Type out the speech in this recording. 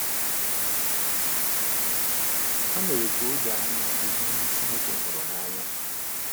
Ha mere ka o doo anya ụdị ndị Chineke hụrụ n’anya.